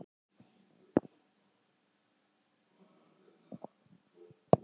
Gengisfelling vegna gjaldeyrisskorts